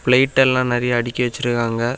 Plate எல்லாம் நெறைய அடுக்கி வச்சிருக்காங்க.